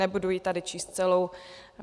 Nebudu ji tady číst celou.